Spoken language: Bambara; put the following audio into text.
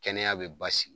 Kɛnɛya be basigi